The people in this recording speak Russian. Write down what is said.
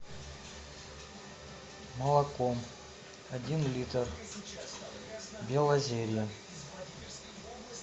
молоко один литр белозерье